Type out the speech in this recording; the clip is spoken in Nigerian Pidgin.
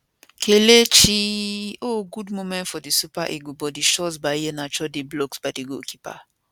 kelechiiiiiiiii oh good moment for di super eagles but di shot by iheanacho dey blocked by di goalkeeper